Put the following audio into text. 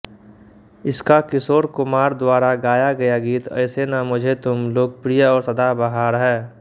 इसका किशोर कुमार द्वारा गाया गया गीत ऐसे ना मुझे तुम लोकप्रिय और सदाबहार है